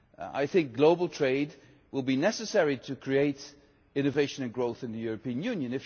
I think global trade will be necessary to create innovation and growth in the European Union.